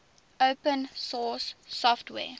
open source software